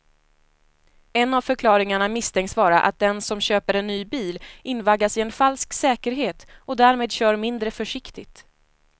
En av förklaringarna misstänks vara att den som köper en ny bil invaggas i en falsk säkerhet och därmed kör mindre försiktigt.